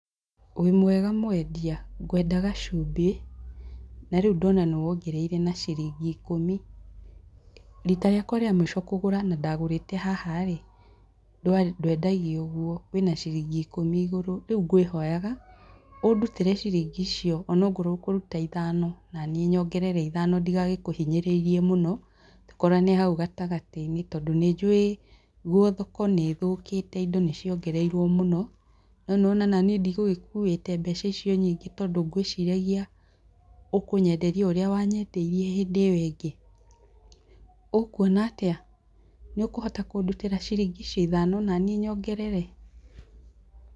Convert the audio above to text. Wĩ mwega mwendia? Ngwendaga cumbĩ, na rĩu ndona nĩ wongereire na ciringi ikũmi. Rita rĩakwa rĩa mũico kũgũra na ndagũrĩte haha rĩ, ndwendagio ũguo, wĩ na ciringi ikũmi igũrũ, rĩu ngwĩhonyaga ũ ndutĩre ciringi icio ona okorwo ũkũruta ciringi ithano naniĩ njongerere ithano ndigagĩkũhinyĩrĩrie mũno tũkorane hau gatagatĩ-inĩ tondũ nĩ njũĩ guo thoko nĩ thũkĩte indo nĩ ciongererirwo mũno, no nĩ wona o naniĩ ndigũgĩkuĩte mbeca icio nyingĩ tondũ ngwĩciragia ũkũnyenderia o ũrĩa wanyendeirie hĩndĩ ĩyo ĩngĩ. Ũkuona atĩa? nĩ ũkũhota kũndutĩra ciringi icio ithano naniĩ nyongerere?